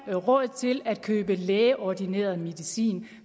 er råd til at købe lægeordineret medicin